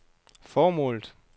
formålet